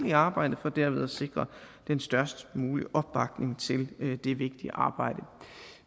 i arbejdet for derved at sikre den størst mulige opbakning til det vigtige arbejde